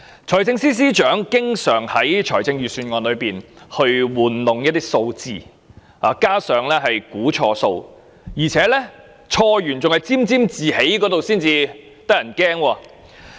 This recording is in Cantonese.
財政司司長經常在財政預算案中玩弄數字，又估算錯誤，還要沾沾自喜，這才嚇人。